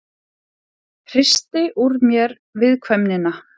Hristi úr mér viðkvæmnina.